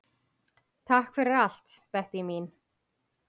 Takk fyrir allt, Bettý mín.